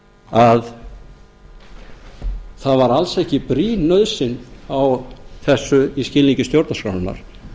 að það var alls ekki brýn nauðsyn á þessu í skilningi stjórnarskrárinnar